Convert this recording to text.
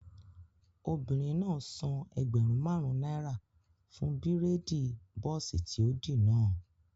Obìnrin náà san ẹgbẹ̀rún máàrún náírà fún bírèèdì bọ́ọ̀sì tí ó dì náà